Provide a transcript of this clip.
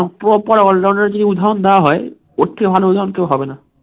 proper all rounder কে যদি ধক দেয়া হয় ওর থেকে ভালো হয়তো আর কেউ হবে না